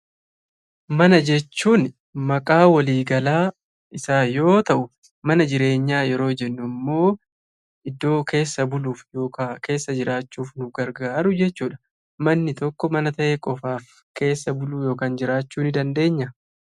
Mana jechuun maqaa waliigalaa isaa yoo ta’u, mana jireenyaa jechuun immoo iddoo keessa buluuf yookaan keessa jiraachuuf gargaaru jechuudha. Manni tokko mana ta'ee qofaat keessa jiraachuu ni dandeenya?